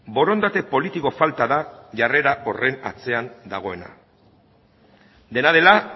borondate politiko falta da jarrera horren atzean dagoena dena dela